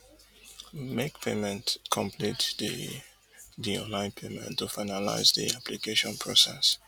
make payment complete di di online payment to finalize di application process